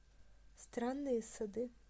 странные сады